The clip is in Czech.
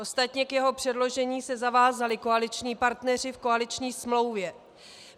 Ostatně k jeho předložení se zavázali koaliční partneři v koaliční smlouvě.